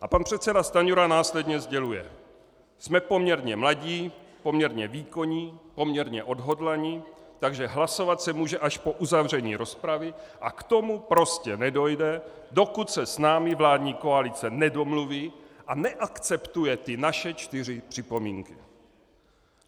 A pan předseda Stanjura následně sděluje: Jsme poměrně mladí, poměrně výkonní, poměrně odhodlaní, takže hlasovat se může až po uzavření rozpravy a k tomu prostě nedojde, dokud se s námi vládní koalice nedomluví a neakceptuje ty naše čtyři připomínky.